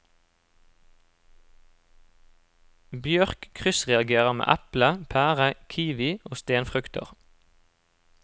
Bjørk kryssreagerer med eple, pære, kiwi og stenfrukter.